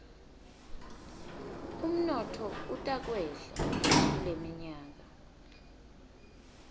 umnotfo utakwehla kuleminyaka